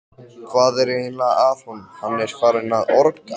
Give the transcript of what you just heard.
Hvað er eiginlega að honum, hann er farinn að orga!